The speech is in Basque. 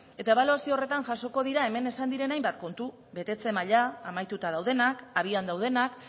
eta ebaluazio horretan jasoko dira hemen esan diren hainbat kontu betetze maila amaituta daudenak abian daudenak